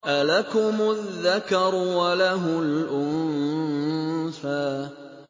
أَلَكُمُ الذَّكَرُ وَلَهُ الْأُنثَىٰ